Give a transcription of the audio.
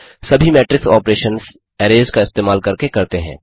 सभी matrix operations arrays का इस्तेमाल करके करते हैं